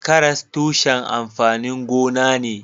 Karas tushen amfanin gona ne.